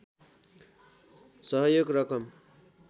सहयोग रकम